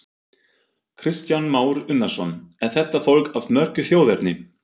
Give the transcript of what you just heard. Kristján Már Unnarsson: Er þetta fólk af mörgu þjóðerni?